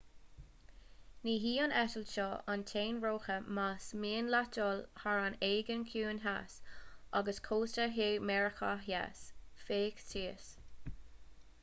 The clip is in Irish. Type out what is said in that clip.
ní hí an eitilt seo an t-aon rogha más mian leat dul thar an aigéan ciúin theas agus cósta thiar mheiriceá theas féach thíos